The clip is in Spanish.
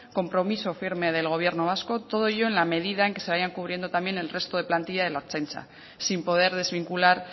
compromiso firme del gobierno vasco todo ello en la medida en que se vayan cubriendo también el resto de plantilla de la ertzaintza sin poder desvincular